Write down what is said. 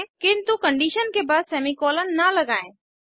किन्तु कंडीशन के बाद सेमीकोलन न लगायें